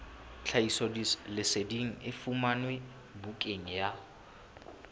tlhahisoleseding e fumanwe bukaneng ya